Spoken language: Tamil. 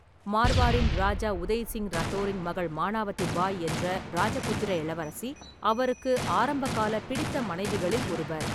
மார்வாரின் ராஜா உதய் சிங் ரத்தோரின் மகள் மானவதி பாய் என்ற ராஜபுத்திர இளவரசி அவருக்கு ஆரம்பகால பிடித்த மனைவிகளில் ஒருவர்.